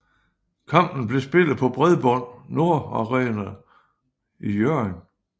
Kampen blev spillet på Bredbånd Nord Arena i Hjørring